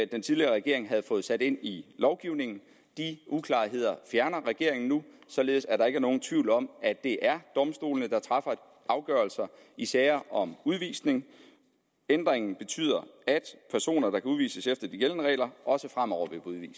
den tidligere regering havde fået sat ind i lovgivningen de uklarheder fjerner regeringen nu således at der ikke er nogen tvivl om at det er domstolene der træffer afgørelser i sager om udvisning ændringen betyder at personer der kan udvises efter de gældende regler også fremover